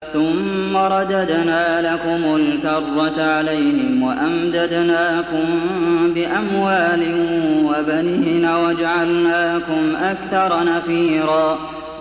ثُمَّ رَدَدْنَا لَكُمُ الْكَرَّةَ عَلَيْهِمْ وَأَمْدَدْنَاكُم بِأَمْوَالٍ وَبَنِينَ وَجَعَلْنَاكُمْ أَكْثَرَ نَفِيرًا